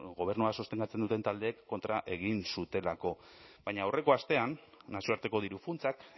gobernua sostengatzen duten taldeek kontra egin zutelako baina aurreko astean nazioarteko diru funtsak